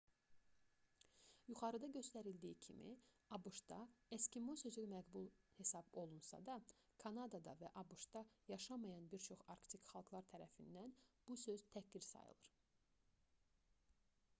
yuxarıda göstərildiyi kimi abş-da eskimo sözü məqbul hesab olunsa da kanadada və abş-da yaşamayan bir çox arktik xalqlar tərəfindən bu söz təhqir sayılır